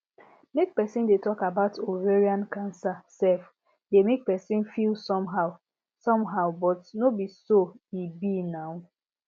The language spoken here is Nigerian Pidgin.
make persin dey talk about ovarian cancer sef dey make persin feel somehow somehow but no be so e be now